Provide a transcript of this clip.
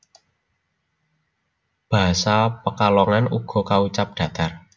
Basa Pekalongan uga kaucap datar